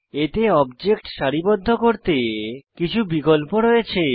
এতে অবজেক্ট সারিবদ্ধ করতে কিছু বিকল্প রয়েছে